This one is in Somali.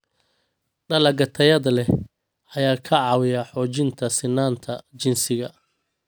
Dalagga tayada leh ayaa ka caawiya xoojinta sinnaanta jinsiga.